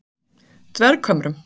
Dverghömrum